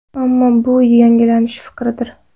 Ammo bu yanglish fikrdir.